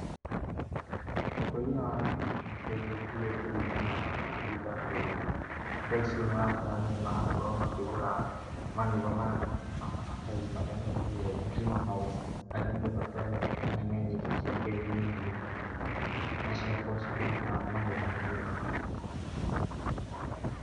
Ũkũria wa nyanya nĩ ũcenjetie kũringana na mahinda tondũ tha ici nĩ ũrakora andũ nĩ marakorwo makĩgũra manyũmba maya manene ma maratathi marĩa metagwo greenhouse harĩa mũndũ akoragwo akĩhanda nyanya ici ciake thĩ-inĩ na cigakorwo cikĩruta magetha mega.